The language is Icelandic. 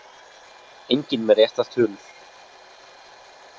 Enginn með réttar tölur